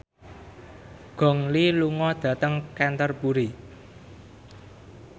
Gong Li lunga dhateng Canterbury